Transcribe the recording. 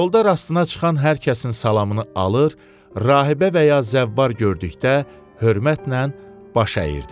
Yolda rastına çıxan hər kəsin salamını alır, Rahibə və ya Zəvvar gördükdə hörmətlə baş əyirdi.